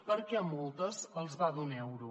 perquè a moltes els va d’un euro